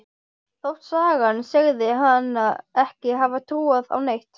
Þótt sagan segði hana ekki hafa trúað á neitt.